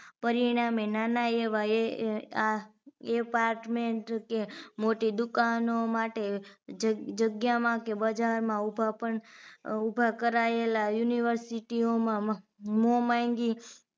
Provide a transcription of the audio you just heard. પરિણામે નાના એવા એ apartment કે મોટી દુકાનો માટે જગ જગ્યામાં કે બજારમાં ઉભા પણ ઉભા કરાયેલા university ઓ માં મોં માંગી